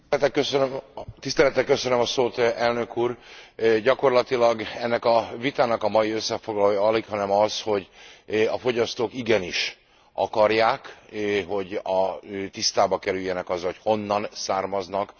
Gyakorlatilag ennek a vitának a mai összefoglalója alighanem az, hogy a fogyasztók igenis akarják, hogy tisztába kerüljenek azzal, hogy honnan származnak a különböző húskészítmények.